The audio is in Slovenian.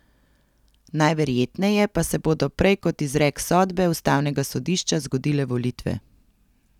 Najverjetneje pa se bodo prej kot izrek sodbe ustavnega sodišča zgodile volitve.